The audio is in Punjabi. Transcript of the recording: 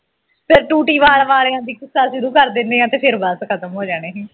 ਫੇਰ ਟੂਟੀ ਵਾਲ ਵਾਲਿਆਂ ਦੀ ਕਿੱਸਾ ਸ਼ੁਰੂ ਕਰ ਦਿੰਨੇ ਆਂ ਤੇ ਫਿਰ ਬਸ ਖ਼ਤਮ ਹੋ ਜਾਣੀ ਸੀ